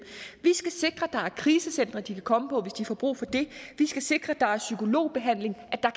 skal sikre at der er krisecentre de kan komme på hvis de får brug for det vi skal sikre at der er psykologbehandling at der